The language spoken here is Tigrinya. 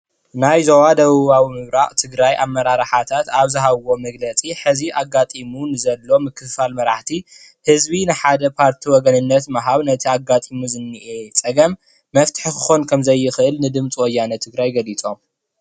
ናይ ዞባ ደቡባዊ ምብራቅ ትግራይ ኣመራርሓታት ኣብ ዝሃበዎ መግለፂ ሕዚ ኣጋጢሙ ንዘሎ ምክፍፋል መራሕቲ ህዝቢ ንሓደ ካብቲ ወገነነት ኣጋጢሙ ዝነአ ፀገም መፍትሒ ክኮን ከምዝክእል ንድምፂ ወያነ ትግራይ ገሊፆም፡፡